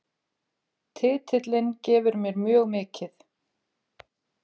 Titillinn gefur mér mjög mikið